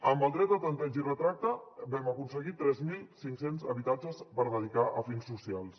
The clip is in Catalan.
amb el dret de tanteig i retracte vam aconseguir tres mil cinc cents habitatges per dedicar a fins socials